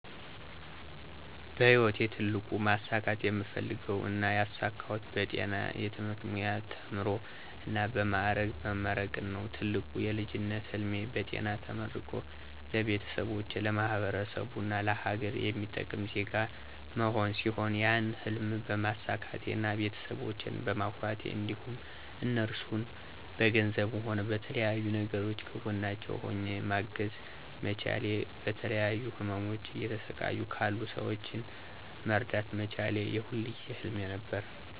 በህይወቴ ትልቁ ማሳካት የምፈልገው እና ያሳካሁት በጤና የትምህርት ሙያ ተምሮ እና በ ማዕረግ መመረቅን ነው። ትልቁ የልጅነት ህልሜ በጤና ተመርቆ ለቤተሰቦቼ፣ ለማህበረሰቡ እና ለሀገር የሚጠቅም ዜጋ መሆን ሲሆን ያን ህልም በማሳካቴ እና ቤተሰቦቸን በማኩራቴ እንዲሁም እነርሱን በገንዘብም ሆነ በተለያዩ ነገሮች ከጎናቸው ሆኘ ማገዝ መቻሌ እና በተለያዩ ህመሞች እየተሰቃዩ ላሉ ሰወችን መርዳት መቻሌ የሁል ጊዜ ህልሜ ነበር።